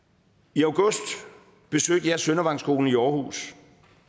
i august besøgte jeg søndervangskolen i aarhus